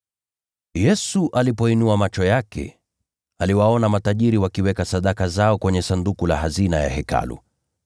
Yesu alipoinua macho yake, aliwaona matajiri wakiweka sadaka zao kwenye sanduku la hazina ya Hekalu.